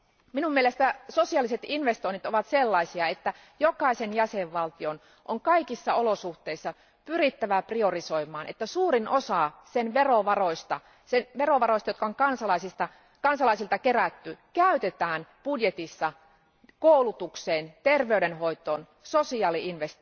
Minun mielestäni sosiaaliset investoinnit ovat sellaisia, että jokaisen jäsenvaltion on kaikissa olosuhteissa pyrittävä priorisoimaan, että suurin osa sen verovaroista, jotka on kansalaisilta kerätty, käytetään budjetissa koulutukseen, terveydenhoitoon ja sosiaali